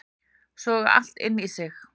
Soga allt inn í sig